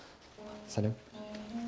сәлем